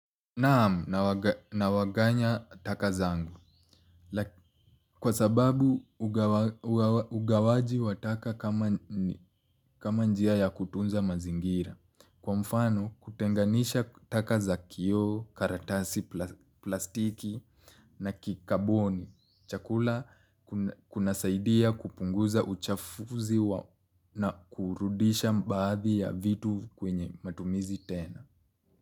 Naam, nawaganya taka zangu. Kwa sababu, ugawaji wa taka kama njia ya kutunza mazingira. Kwa mfano kutengenisha taka za kioo karatasi plastiki na kicarbon. Chakula kuna saidia kupunguza uchafuzi na kurudisha baadhi ya vitu kwenye matumizi tena.